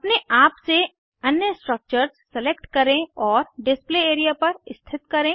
अपने आप से अन्य स्ट्रक्चर्स सेलेक्ट करें और डिस्प्ले एरिया पर स्थित करें